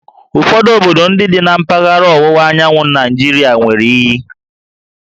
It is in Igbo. Ụfọdụ obodo ndị dị na mpaghara ọwụwa anyanwụ Naịjirịa nwere íyí